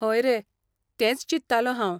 हय रे, तेंच चिंत्तालों हांव.